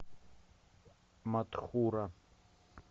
матхура